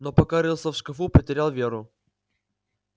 но пока рылся в шкафу потерял веру